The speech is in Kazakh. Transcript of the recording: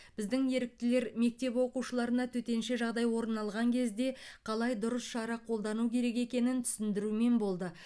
біздің еріктілер мектеп оқушыларына төтенше жағдай орын алған кезде қалай дұрыс шара қолдану керек екенін түсіндірумен болды